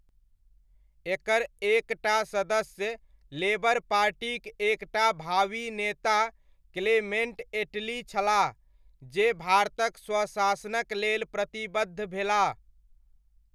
एकर एक टा सदस्य लेबर पार्टीक एक टा भावी नेता क्लेमेण्ट एटली छलाह जे भारतक स्वशासनक लेल प्रतिबद्ध भेलाह।